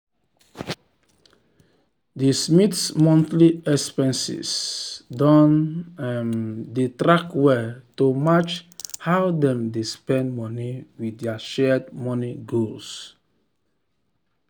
d smiths monthly expenses don um dey tracked well to match how dem dey spend money with dir shared money goals.